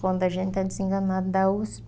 Quando a gente é desenganada da Usp,